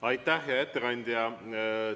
Aitäh, hea ettekandja!